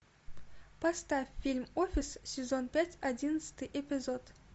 поставь фильм офис сезон пять одиннадцатый эпизод